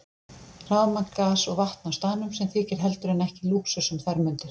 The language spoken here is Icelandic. Rafmagn, gas og vatn á staðnum, sem þykir heldur en ekki lúxus um þær mundir.